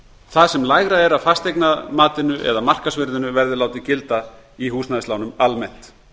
það sem lægra er af fasteignamatinu eða markaðsvirði verði látið gilda í húsnæðislánum almennt